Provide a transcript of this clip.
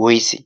woise?